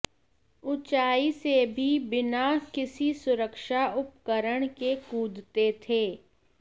उंचाई से भी बिना किसी सुरक्षा उपकरण के कूदते थे